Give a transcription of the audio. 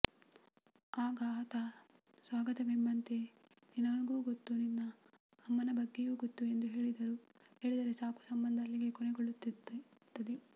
ಆಗ ಆತ ಸ್ವಗತವೆಂಬಂತೆ ನೀನೂ ಗೊತ್ತು ನಿನ್ ಅಮ್ಮನ ಬಗ್ಗೆನೂ ಗೊತ್ತು ಎಂದು ಹೇಳಿದರೆ ಸಾಕು ಸಂಬಂಧ ಅಲ್ಲಿಗೆ ಕೊನೆಗೊಳ್ಳುತ್ತದೆ